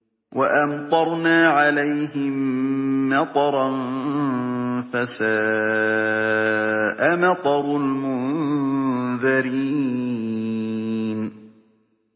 وَأَمْطَرْنَا عَلَيْهِم مَّطَرًا ۖ فَسَاءَ مَطَرُ الْمُنذَرِينَ